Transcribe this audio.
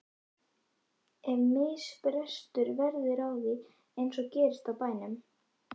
Ef misbrestur verður á því- eins og gerist á bænum